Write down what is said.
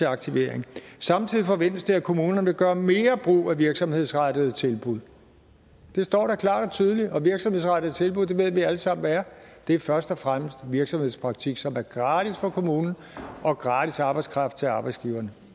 aktivering samtidig forventes det at kommunerne vil gøre mere brug af virksomhedsrettede tilbud det står da klart og tydeligt og virksomhedsrettede tilbud ved vi alle sammen hvad er det er først og fremmest virksomhedspraktik som er gratis for kommunen og gratis arbejdskraft til arbejdsgiverne